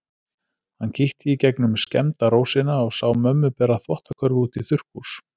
Hann kíkti í gegnum skemmda rósina og sá mömmu bera þvottakörfu út í þurrkhús.